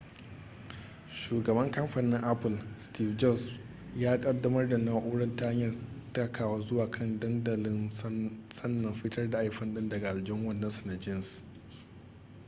shugaban kamfanin apple steve jobs ya kaddamar da na'urar ta hanyar takawa zuwa kan dandamalin sannan fitar da iphone din daga aljihun wandonsa na jeans